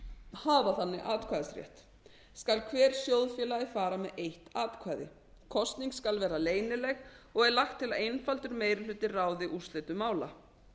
hafa þannig atkvæðisrétt skal hver sjóðfélagi fara með eitt atkvæði kosning skal vera leynileg og er lagt til að einfaldur meiri hluti ráði úrslitum mála